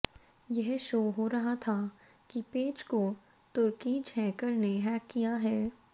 यह शो हो रहा था कि पेज को तुर्कीज हैकर ने हैक किया है